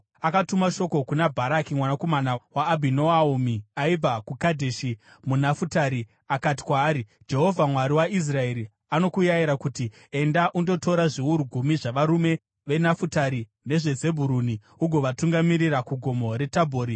Akatuma shoko kuna Bharaki mwanakomana waAbhinoami aibva kuKadheshi muNafutari akati kwaari, “Jehovha, Mwari waIsraeri anokurayira kuti, ‘Enda undotora zviuru gumi zvavarume veNafutari neveZebhuruni ugovatungamirira kuGomo reTabhori.